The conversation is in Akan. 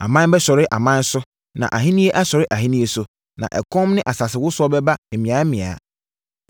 Aman bɛsɔre aman so, na ahennie asɔre ahennie so, na ɛkɔm ne asasewosoɔ bɛba mmeammea.